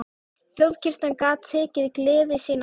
Þjóðkirkjan gat tekið gleði sína aftur.